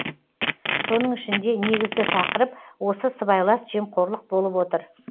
соның ішінде негізгі тақырып осы сыбайлас жемқорлық болып отыр